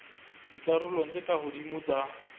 dikarolong tse ka hodimo tsa